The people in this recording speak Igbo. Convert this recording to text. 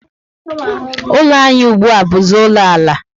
Ụlọ anyị ùgbúà buzi ụlọ ala